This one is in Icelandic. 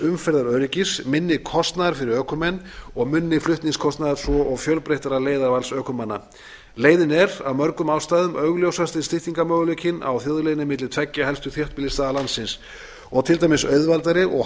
umferðaröryggis minni kostnaðar fyrir ökumenn og minni flutningskostnaðar svo og fjölbreyttara leiðavals ökumanna leiðin er af mörgum ástæðum augljósasti styttingarmöguleikinn á þjóðleiðinni milli tveggja helstu þéttbýlisstaða landsins og til dæmis auðveldari og